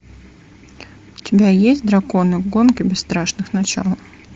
у тебя есть драконы гонки бесстрашных начало